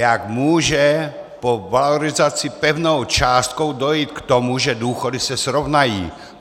Jak může po valorizace pevnou částkou dojít k tomu, že důchody se srovnají?